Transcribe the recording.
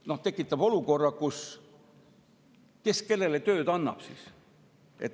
See tekitab, et kes siis kellele tööd annab.